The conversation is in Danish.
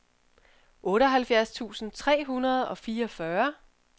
otteoghalvfjerds tusind tre hundrede og fireogfyrre